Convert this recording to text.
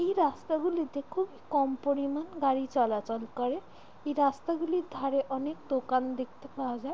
এই রাস্তা গুলিতে খুব কম পরিমান গাড়ি চলাচল করে। এই রাস্তা গুলির ধারে অনকে দোকান দেখতে যায়।